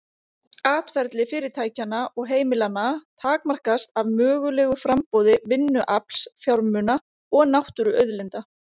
Atferli fyrirtækjanna og heimilanna takmarkast af mögulegu framboði vinnuafls, fjármuna og náttúruauðlinda.